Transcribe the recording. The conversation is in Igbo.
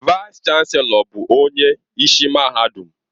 Vaịs-Chanelọ bụ onye isi mahadum